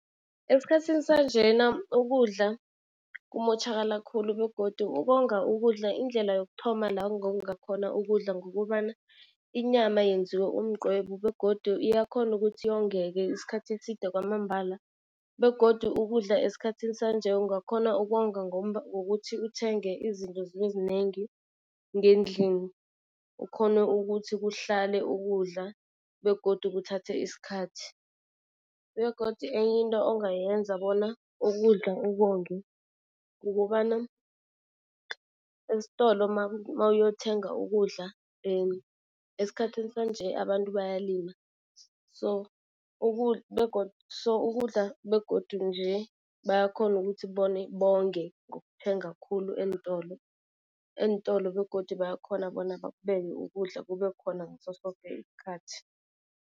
Esikhathini sanjena ukudla kumotjhakala khulu begodu ukonga ukudla, indlela yokuthoma la ungonga khona ukudla ngukobana inyama yenziwa umqwebu begodu iyakhona ukuthi yongeke isikhathi eside kwamambala. Begodu ukudla esikhathini sanje ungakhona ukonga, ngokuthi uthenge izinto zibe zinengi ngendlini, ukghone ukuthi kuhlale ukudla begodu kuthathe isikhathi. Begodu enye into ongayenza bona ukudla ukonge, kukobana estolo mawuyothenga ukudla esikhathini sanje abantu bayalila so so ukudla begodu nje bayakhona ukuthi bonge ngokuthenga khulu eentolo. Eentolo begodu bayakhona bona bakubeke ukudla kube khona ngaso soke isikhathi.